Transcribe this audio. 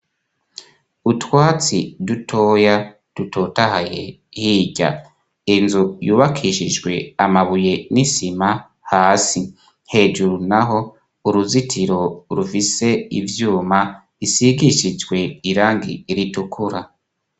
Utwatsi dutoya dutotahaye, hirya inzu yubakishijwe amabuye n'isima hasi, hejuru naho uruzitiro rufise ivyuma, isigishijwe irangi ritukura